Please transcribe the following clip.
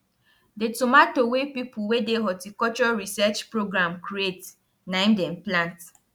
the tomato wey people wey dey horticulture research program create na im dem plant